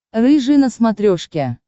рыжий на смотрешке